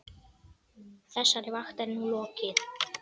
Þessari vakt er nú lokið.